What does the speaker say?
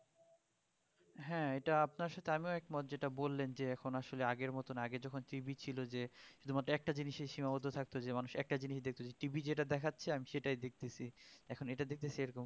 হ্যাঁ এটা আপনার সাথে আমিও একমত যেটা বললেন যে এখন আসলে আগের মতন আগে যখন TV ছিল যে শুধুমাত্র একটা জিনিসেই সীমাবদ্ধ থাকতো যে মানুষ একটা জিনিস দেখতেছেন TV যেটা দেখাচ্ছে আমি সেটাই দেখতেছি এখন এইটা দেখতেছি এরকম